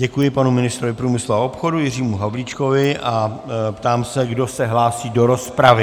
Děkuji panu ministrovi průmyslu a obchodu Jiřímu Havlíčkovi a ptám se, kdo se hlásí do rozpravy.